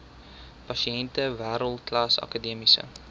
pasiënte wêreldklas akademiese